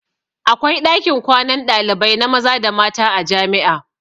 Akwai ɗakin kwanan ɗalibai na maza da mata a jami'a.